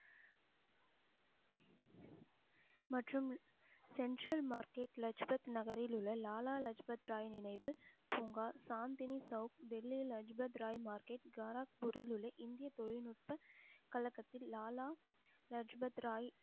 மற்றும் central market Lajpat நகரில் உள்ள லாலா லஜ்பத் ராய் நினைவு பூங்கா, சாந்தினி சௌவுக், டெல்லியில் லஜ்பத் ராய், மார்க்கெட், காரக்பூரில் உள்ள இந்திய தொழில்நுட்ப கழகத்தில் லாலா லஜபத் ராய்